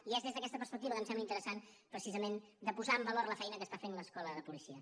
i és des d’aquesta perspectiva que em sembla interessant precisament de posar en valor la feina que està fent l’escola de policia